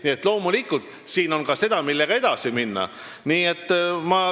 Nii et loomulikult, siin on ka seda, millega saab edasi minna.